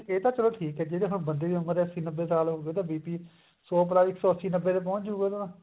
ਇਹ ਤਾਂ ਚਲੋ ਠੀਕ ਹੈ ਜਦ ਹੁਣ ਬੰਦੇ ਦੀ ਉਮਰ ਅੱਸੀ ਨੱਬੇ ਸਾਲ ਹੋਗੀ ਉਹਦਾ BP ਸੋ ਭਲਾ ਇੱਕ ਸੋ ਅੱਸੀ ਨੱਬੇ ਤੇ ਪਹੁੰਚ ਜੁਗਾ ਉਹ ਤਾਂ